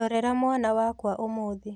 Ndorera mwana wakwa ũmũthĩ